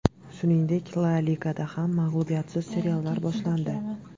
Shuningdek, La Ligada ham mag‘lubiyatsiz seriyalar boshlandi.